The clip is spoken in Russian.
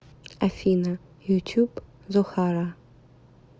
афина ютюб зохара